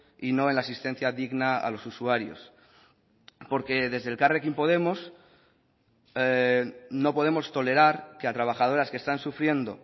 y no en la asistencia digna a los usuarios porque desde elkarrekin podemos no podemos tolerar que a trabajadoras que están sufriendo